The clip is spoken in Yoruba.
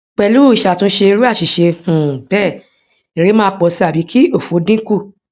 pelu isatunse iru asise um bee ere maa po si abi ki ofo dinku